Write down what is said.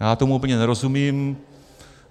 Já tomu úplně nerozumím.